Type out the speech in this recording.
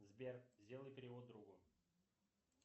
сбер сделай перевод другу